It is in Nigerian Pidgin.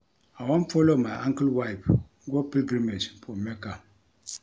I wan follow my uncle wife go pilgrimage for Mecca